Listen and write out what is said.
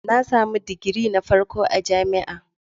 Na samu digiri na farko a jami'a.